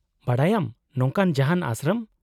-ᱵᱟᱰᱟᱭᱟᱢ ᱱᱚᱝᱠᱟᱱ ᱡᱟᱦᱟᱸᱱ ᱟᱥᱨᱚᱢ ?